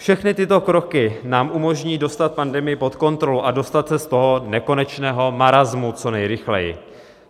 Všechny tyto kroky nám umožní dostat pandemii pod kontrolu a dostat se z toho nekonečného marasmu co nejrychleji.